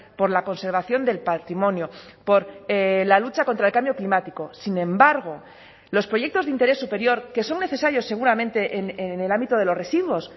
por la conservación del patrimonio por la lucha contra el cambio climático sin embargo los proyectos de interés superior que son necesarios seguramente en el ámbito de los residuos